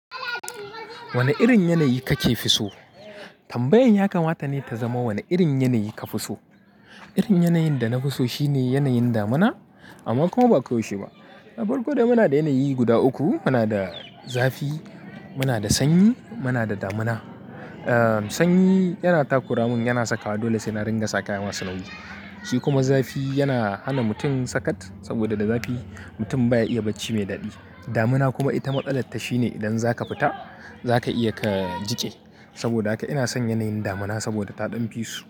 Wanne irin yanayi kake fi so? Tambayan ya kamata ne ta zama wanne irin yanayi ka fi so. Irin yanayin da na fi so shine yanayin damina amma kuma ba ko yaushe ba. A farko dai muna da yanayi guda uku, muna da zafi, muna da sanyi, muna da damina. Ah sanyi yana takura mun, yana sakawa dole sai na ringa sa kaya masu nauyi. Shi kuma zafi yana hana mutum sakat saboda da zafi mutum baya iya barci me daɗi. Damina kuma ita matsalar ta shine idan za ka fita za ka iya ka jiƙe. Saboda haka ina son yanayin damina saboda ta ɗan fi su.